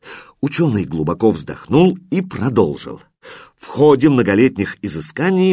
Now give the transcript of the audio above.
учёный глубоко вздохнул и продолжил в ходе многолетних изысканий